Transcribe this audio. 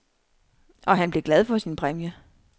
Og han blev glad for sin præmie.